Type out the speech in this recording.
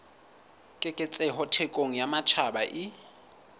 keketseho thekong ya matjhaba e